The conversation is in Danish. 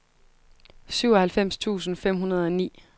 syvoghalvfems tusind fem hundrede og ni